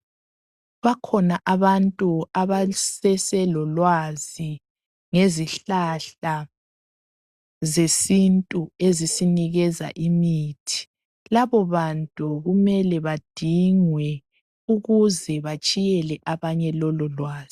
Bakhona abantu abaseselolwazi ngezihlahla zesintu ezisinikeza imithi. Labo bantu kumele badingwe ukuze batshiyele abanye lololwazi.